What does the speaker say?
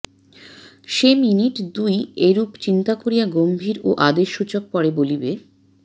সে minute দুই এরূপ চিন্তা করিয়া গম্ভীর ও আদেশসূচক পরে বলিবে